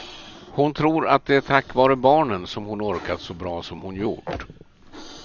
Hon tror att det är tack vare barnen som hon orkat så bra som hon gjort.